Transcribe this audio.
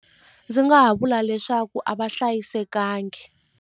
Ndzi nga ha vula leswaku a va hlayisekanga.